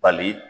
Bali